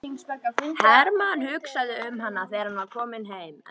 Hermann hugsaði um hana þegar hann var kominn heim.